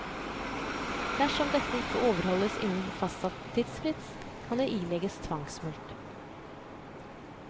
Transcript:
Dersom dette ikke overholdes innen fastsatt tidsfrist, kan det ilegges tvangsmulkt.